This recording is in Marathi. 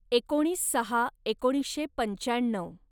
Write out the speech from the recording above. एकोणीस सहा एकोणीसशे पंच्याण्णव